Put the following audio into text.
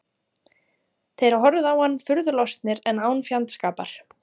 Þeir horfðu á hann furðu lostnir en án fjandskapar.